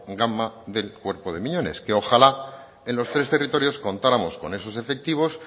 gama del cuerpo de miñones que ojalá en los tres territorios contáramos con esos efectivos